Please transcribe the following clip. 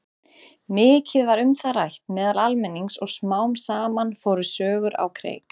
Mikið var um það rætt meðal almennings og smám saman fóru sögur á kreik.